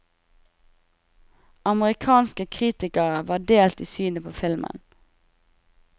Amerikanske kritikere var delt i synet på filmen.